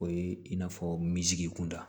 O ye in n'a fɔ minzigun da